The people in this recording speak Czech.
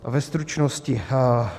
Ve stručnosti: